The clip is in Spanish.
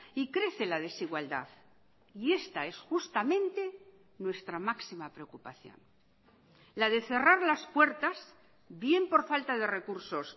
y crece la desigualdad y esta es justamente nuestra máxima preocupación la de cerrar las puertas bien por falta de recursos